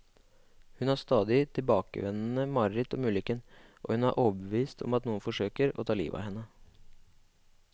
Hun har stadig tilbakevendende mareritt om ulykken, og hun er overbevist om at noen forsøker å ta livet av henne.